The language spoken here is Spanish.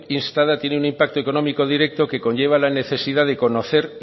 instada tiene un impacto económico directo que conlleva la necesidad de conocer